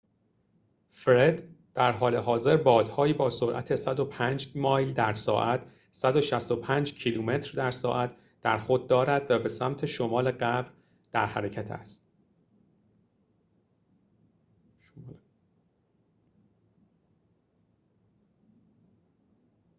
«فرِد» درحال حاضر بادهایی با سرعت 105 مایل در ساعت 165 کیلومتر در ساعت در خود دارد و به سمت شمال غرب در حرکت است